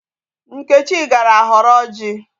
Nkechi gara họrọ ọjị.